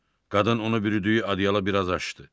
Qadın onu bürüdüyü adiyalı biraz açdı.